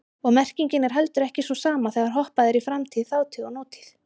Og merkingin er heldur ekki sú sama þegar hoppað er í framtíð, þátíð og nútíð.